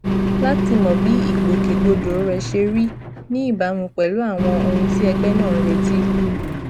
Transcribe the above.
láti mọ bí ìgbòkègbodò rẹ ṣe rí ní ìbámu pẹlú àwọn ohun tí ẹgbẹ náà ń retí